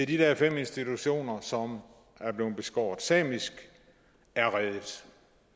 de der fem institutioner som er blevet beskåret samisk er reddet